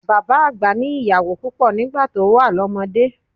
Bàbá àgbà ní ìyàwó púpọ̀ nígbà tó wà lọ́mọdé.